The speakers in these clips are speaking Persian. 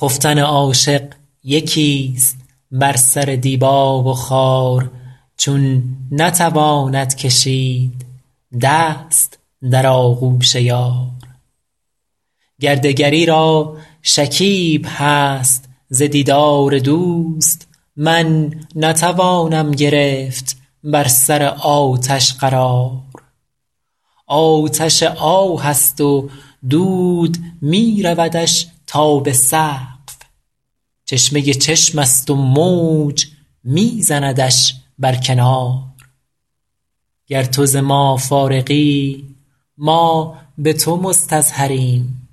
خفتن عاشق یکیست بر سر دیبا و خار چون نتواند کشید دست در آغوش یار گر دگری را شکیب هست ز دیدار دوست من نتوانم گرفت بر سر آتش قرار آتش آه است و دود می رودش تا به سقف چشمه چشمست و موج می زندش بر کنار گر تو ز ما فارغی ما به تو مستظهریم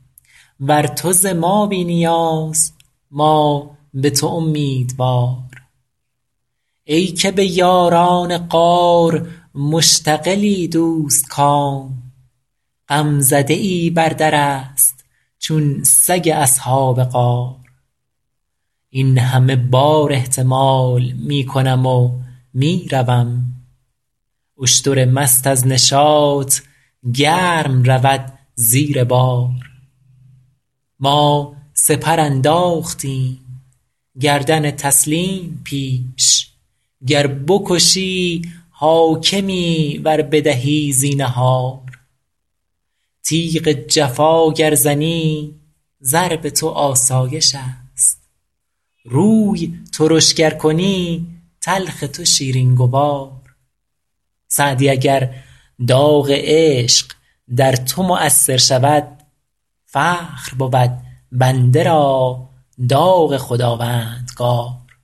ور تو ز ما بی نیاز ما به تو امیدوار ای که به یاران غار مشتغلی دوستکام غمزده ای بر درست چون سگ اصحاب غار این همه بار احتمال می کنم و می روم اشتر مست از نشاط گرم رود زیر بار ما سپر انداختیم گردن تسلیم پیش گر بکشی حاکمی ور بدهی زینهار تیغ جفا گر زنی ضرب تو آسایشست روی ترش گر کنی تلخ تو شیرین گوار سعدی اگر داغ عشق در تو مؤثر شود فخر بود بنده را داغ خداوندگار